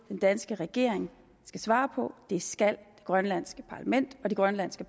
den danske regering skal svare på det skal det grønlandske parlament og de grønlandske